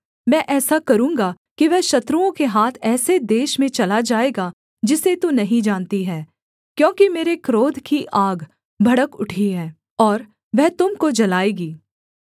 मैं ऐसा करूँगा कि वह शत्रुओं के हाथ ऐसे देश में चला जाएगा जिसे तू नहीं जानती है क्योंकि मेरे क्रोध की आग भड़क उठी है और वह तुम को जलाएगी